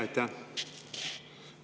Aitäh!